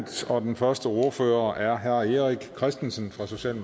og den første ordfører er herre erik christensen